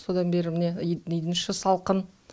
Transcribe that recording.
содан бері міне үйдің іші салқын